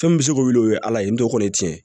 Fɛn min bɛ se k'o wuli o ye ala ye n to kɔni tiɲɛ ye